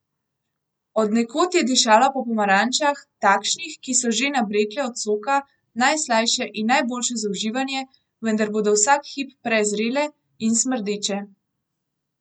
Od nekod je dišalo po pomarančah, takšnih, ki so, že nabrekle od soka, najslajše in najboljše za uživanje, vendar bodo vsak hip prezrele in smrdeče.